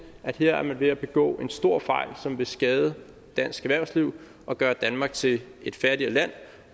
at her er man ved at begå en stor fejl som vil skade dansk erhvervsliv og gøre danmark til et fattigere land